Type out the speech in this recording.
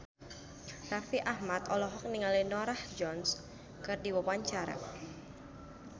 Raffi Ahmad olohok ningali Norah Jones keur diwawancara